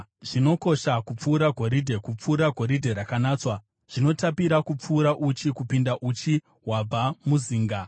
Zvinokosha kupfuura goridhe, kupfuura goridhe rakanatswa; zvinotapira kupfuura uchi, kupinda uchi hwabva muzinga.